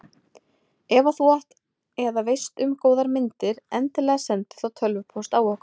Ef að þú átt eða veist um góðar myndir endilega sendu þá tölvupóst á okkur.